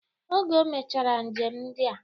Oge ọ gachara njem ndia